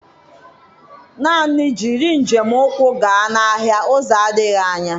Naan jiriị njem ụkwụ gaa n'ahịa uzo adịghị anya.